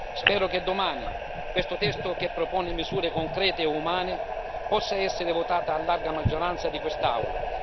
Spero che domani questo testo che propone misure concrete e umane possa essere votato a larga maggioranza in quest'Aula.